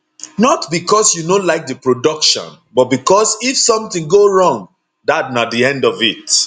not becos you no like di production but becos if somtin go wrong dat na di end of it